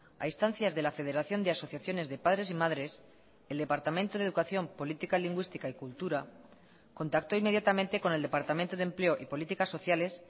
a instancias de la federación de asociaciones de padres y madres el departamento de educación política lingüística y cultura contactó inmediatamente con el departamento de empleo y políticas sociales